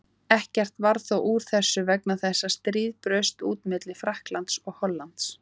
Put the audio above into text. Ekkert varð þó úr þessu vegna þess að stríð braust út milli Frakklands og Hollands.